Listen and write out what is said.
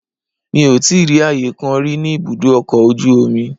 Mi ò tíì rí ààyè kan rí ní ibùdó ọkọ̀ ojú omi rí.